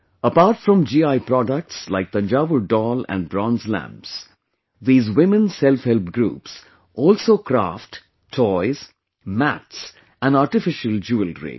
Apart from GI products like Thanjaur Doll and Bronze Lamp , these women Self Help Groups, also craft toys, mats and artificial jewellery